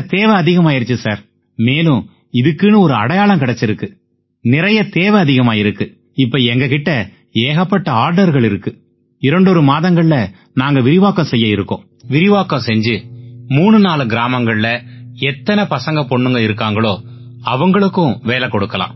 அத்தனை தேவை அதிகமாயிருச்சு சார் மேலும் இதுக்குன்னு ஒரு அடையாளம் கிடைச்சிருக்கு நிறைய தேவை அதிகமாயிருக்கு இப்ப எங்க கிட்ட ஏகப்பட்ட ஆர்டர்கள் இருக்கு இரண்டொரு மாதங்கள்ல நாங்க விரிவாக்கம் செய்ய இருக்கோம் விரிவாக்கம் செஞ்சு மூணு நாலு கிராமங்கள்ல எத்தனை பசங்க பொண்ணுங்க இருக்காங்களோ அவங்களுக்கு வேலையைக் கொடுக்கலாம்